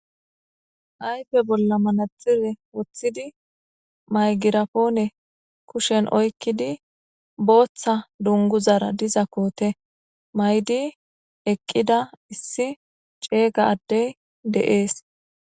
ayfe bolla manaxire woththidi maygirapoone kushen oykkidi booththa dunguzara diza koote maydi eqqida issi cega addey deees